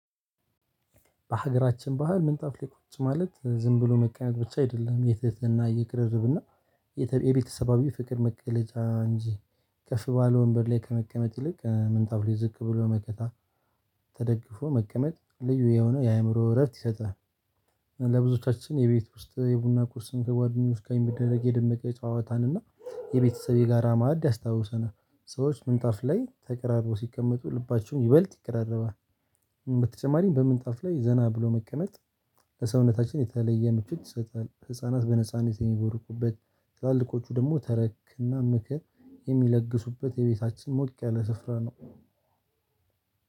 በሀገራችን ባህል ምንጣፍ ላይ ቁጭ ማለት ዝም ብሎ መቀመጥ ብቻ አይደለም። የትህት፣ የቅርርብ እና የተ የቤተሰባዊ ፍቅር መቀለጫ እንጂ፤ ከፍ ባለ ወንበር ላይ ከመቀመጥ ይልቅ ምንጣብ ላይ ዝቅ ብሎ መከ ተደግፎ መቀመጥ ልዩ የሆነው የአእምሮ እረፍት ይሰጣል። ነው ለብዙዎቻችን የቤት ውስጥ የቡና ቁርስን ከጓደኞች ጋር የሚደረግ የደመቀ የጨዋታን እና የቤተሰብ የጋራ ማዕድ ያስታውሰናል ሰዎች ምንጣፍ ላይ ተቀራርበው ሲቀመጡ ልባቸውን ይበልጥ ይቀራረባል። በተጨማሪም በምንጣፍ ላይ ዘና ብሎ መቀነጥ ለሰውነታችን የተለየ ምቾት ይሰጣል። ህፃናት በነጻነት የሚቦርቁበት ትላልቆቹ ደግሞ ተረክና ምክር የሚለግሱበት የቤታችን ሞቅ ያለ ስፍራ ነው።